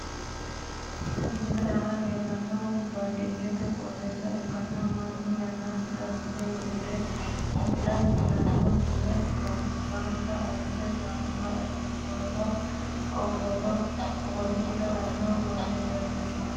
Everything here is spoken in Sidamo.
Misilete aanna la'neemohu baadiyete qooxeessa ikkanna Manu yannasira gide wixire wixirino gide ganba asitanni ganba asirinoho ogoru gido woranni noo manna leelishano misileeti.